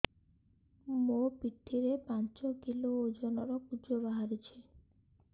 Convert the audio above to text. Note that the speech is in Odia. ମୋ ପିଠି ରେ ପାଞ୍ଚ କିଲୋ ଓଜନ ର କୁଜ ବାହାରିଛି